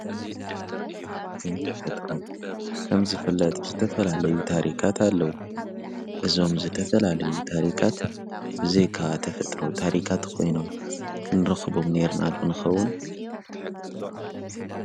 ታሪኽን ተፈጥሮን ከምዝፍለጥ ዝተፈላለዩ ታሪካት ኣለዉ እዞም ዝተፈላለዩ ታሪካት ብዘይከ ተፍጥሮ ታሪካት ኾይኖም ክንርኽቦም ነር ናድንኸውን።